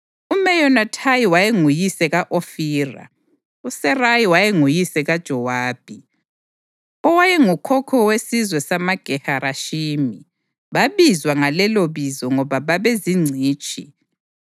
UMeyonathayi wayenguyise ka-Ofira. USeraya wayenguyise kaJowabi, owayengukhokho wesizwe samaGe-Harashimi. Babizwa ngalelibizo ngoba babezingcitshi.